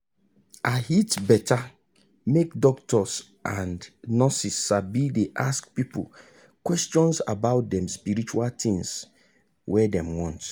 ahit beta make doctors and nurse sabi dey ask people questions about dem spiritual tins wey them want.